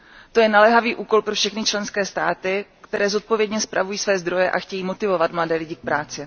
To je naléhavý úkol pro všechny členské státy, které zodpovědně spravují své zdroje a chtějí motivovat mladé lidi k práci.